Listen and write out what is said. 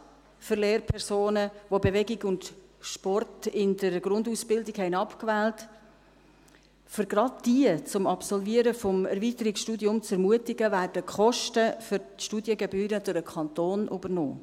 Gerade um jene Lehrpersonen, die Bewegung und Sport in der Grundausbildung abgewählt hatten, zum Absolvieren des Erweiterungsstudiums zu ermutigen, werden die Kosten für die Studiengebühren durch den Kanton übernommen.